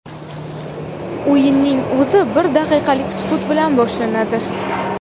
O‘yinning o‘zi bir daqiqalik sukut bilan boshlanadi.